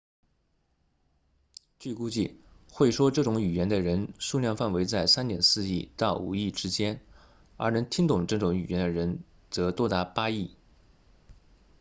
据估计会说这种语言的人数量范围在 3.4 亿到5亿之间而能听懂这种语言的人则多达8亿